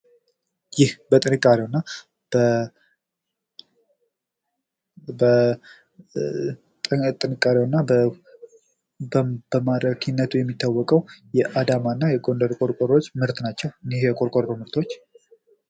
ይህ በጥንካሬው እና በማራኪነቱ የሚታወቀው የአዳማ እና የጎንደር ቁርቆሮዎች ምርት ናቸው። እንህ የቁርቆሮ ምርቶች